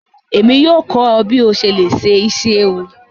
Emi yóò kọ ọ bi o ṣe le se isi ewu.